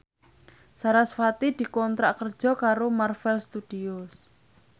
sarasvati dikontrak kerja karo Marvel Studios